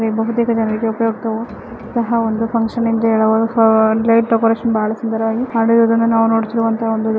ತುಂಬಾ ಜನರಿಗೆ ಉಪಯೋಗವಾಗುವಂತ ಇದು ಒಂದು ಫುನ್ಕ್ಷನ ಅಂತ ಹೇಳಬಹುದು ಲೈಟ್ ಡೆಕೋರೇಷನ್ ಬಹಳ ಸುಂದರವಾಗಿ ಕಾಣುತ್ತಿದೆ ಅಂತ ಹೇಳಬಹುದು.